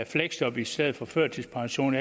fleksjob i stedet for førtidspension